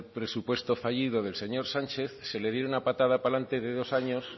presupuesto fallido del señor sánchez se le diera una patada para adelante de dos años